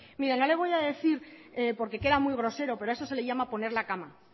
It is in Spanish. mire no le voy a decir porque queda muy grosero pero a eso se le llama poner la cama